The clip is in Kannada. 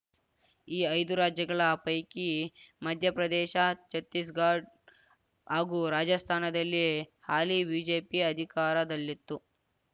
ಈ ಐದು ರಾಜ್ಯಗಳ ಪೈಕಿ ಮಧ್ಯಪ್ರದೇಶ್ ಛತ್ತೀಸ್‌ಗಡ್ ಹಾಗೂ ರಾಜಸ್ಥಾನದಲ್ಲಿ ಹಾಲಿ ಬಿಜೆಪಿ ಅಧಿಕಾರದಲ್ಲಿತ್ತು